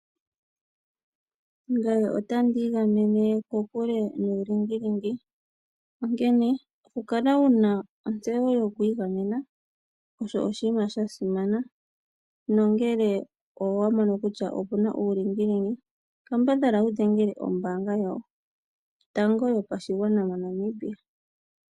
Ngae onda ndiigamene kokule nuulingilingi, onkene kukala wuna ontseyo yokwiigamena osho oshinima shasimana nongele owamono kutya opuna uulingilingi kambadhala wudhengele ombaanga yotango yopashigwana moNamibia.